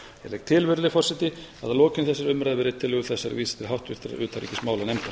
legg til virðulegi forseti að lokinni þessari umrædd verði tillögu þessari vísað til háttvirtrar utanríkismálanefndar